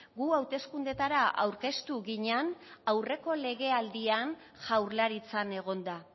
gu hauteskundeetara aurkeztu ginen aurreko legealdian jaurlaritzan egonda